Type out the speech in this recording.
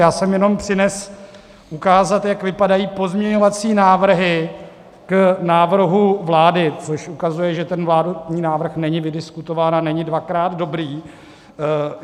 Já jsem jenom přinesl ukázat, jak vypadají pozměňovací návrhy k návrhu vlády , což ukazuje, že ten vládní návrh není vydiskutován a není dvakrát dobrý.